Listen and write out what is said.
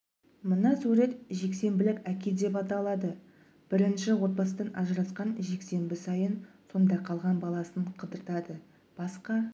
мына сурет жексенбілік әке деп аталады бірінші отбасыдан ажырасқан жексенбі сайын сонда қалған баласын қыдыртады басқа